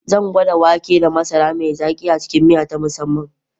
Zan gwada wake da masara mai zaki a cikin miya ta musamman.